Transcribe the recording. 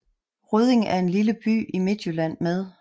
Rødding er en lille by i Midtjylland med